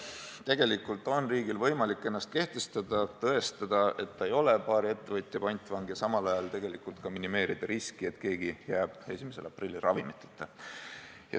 Tegelikult on riigil võimalik ennast kehtestada, tõestada, et ta ei ole paari ettevõtja pantvang, ja samal ajal minimeerida riski, et keegi võiks 1. aprillil jääda ravimiteta.